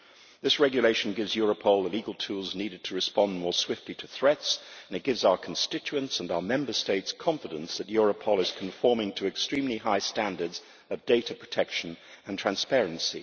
This regulation gives Europol the legal tools needed to respond more swiftly to threats and it gives our constituents and our Member States confidence that Europol is conforming to extremely high standards of data protection and transparency.